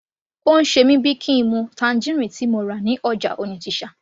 Ó ń ṣe mí bíi kín n mu tangerine tí mo rà ní ọjà Onitsha